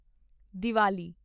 Diwali